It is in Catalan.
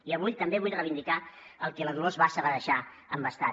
i avui també vull reivindicar el que la dolors bassa va deixar embastat